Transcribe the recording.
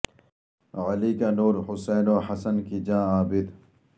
علی کا نور حسین و حسن کی جاں عابد